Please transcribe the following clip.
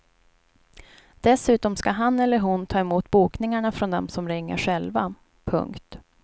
Dessutom ska han eller hon ta emot bokningarna från dem som ringer själva. punkt